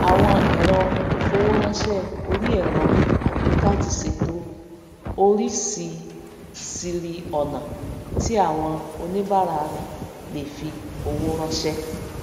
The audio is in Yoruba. áwon èrọ ìfowóránsè orí èrò àgbééká ti sèto orísisíri ònà tí áwon oníbàárà rè le fi owó ránsé